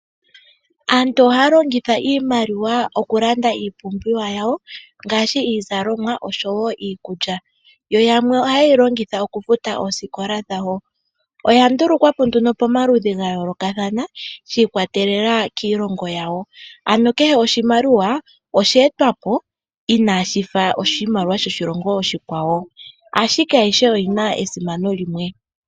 Aantu ohaya longitha iimaliwa oku landa iipumbiwa yawo ngaashi iizalomwa oshowo iikulya yamwe ohaye longitha oku futa oosikola dhawo . Oya ndulukwapo pomaludhi ga yoolokathana shi ikwatelela kiilongo yawo ano kehe oshimaliwa oshe etwapo inashifa oshimaliwa shoshilongo oshikwawo ashike ayihe oyina esimano limwe.